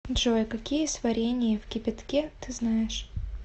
джой какие сварение в кипятке ты знаешь